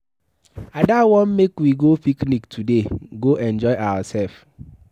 Ada wan make we go picnic today go enjoy ourselves.